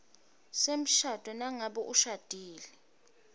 semshado nangabe ushadile